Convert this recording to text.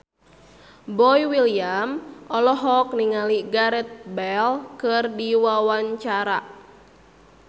Boy William olohok ningali Gareth Bale keur diwawancara